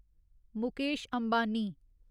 Mukesh Ambani